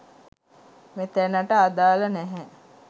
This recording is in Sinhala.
මෙතැනට අදාළ නැහැ